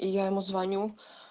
и я ему звоню